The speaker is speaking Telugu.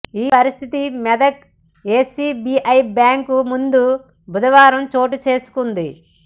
ఈ పరిస్థితి మెదక్ ఎస్బిఐ బ్యాంకు ముందు బుధవారం చోటుచేసుకుంది